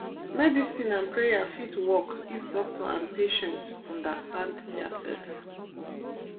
medicine and prayer fit work if doctor and patient understand diasef.